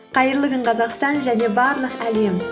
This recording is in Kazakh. қайырлы күн қазақстан және барлық әлем